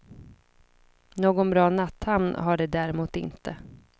Någon bra natthamn är det däremot inte.